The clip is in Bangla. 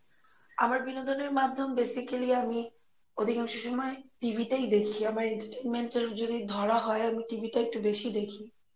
আমার বিনোদনের মাধ্যম basically আমি অধিকাংশ সময় TV টাই দেখি আমার entertenment এর যদি ধরা হয় আমি TV টা একটু বেশী দেখি